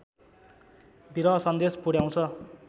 विरह सन्देश पुर्‍याउँछ